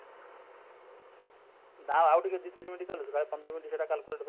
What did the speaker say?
ନା ଆଉ ଟିକେ ଦୁଇ ତିନି minute ଚାଲୁ ସେଟା ପନ୍ଦର minute ସେଟା calculator